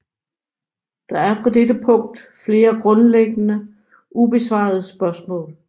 Der er på dette punkt flere grundlæggende ubesvarede spørgsmål